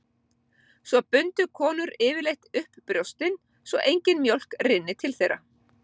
Þá bundu konur yfirleitt upp brjóstin svo engin mjólk rynni til þeirra.